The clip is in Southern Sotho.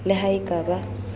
le ha e ka ba